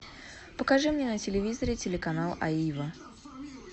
покажи мне на телевизоре телеканал аива